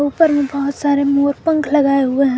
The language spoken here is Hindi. ऊपर में बहोत सारे मोर पंख लगाए हुए हैं।